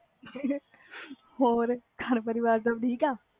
ਹੋਰ ਘਰ ਪਰਿਵਾਰ ਸਬ ਠੀਕ ਆ